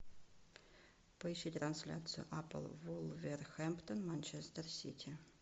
поищи трансляцию апл вулверхэмптон манчестер сити